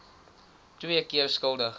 twee keer skuldig